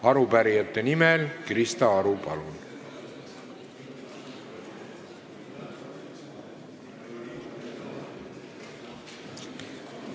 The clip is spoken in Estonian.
Arupärijate nimel Krista Aru, palun!